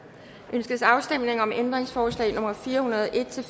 ønskes afstemning om ændringsforslag nummer fire hundrede og en til